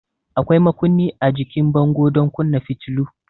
Akwai makunni a jikin bango don kunna fitilu.